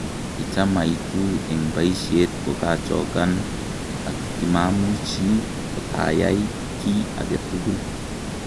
Kicham aitu eng baishet kokachokan ak kimamuchi kotaai kiy agetugul.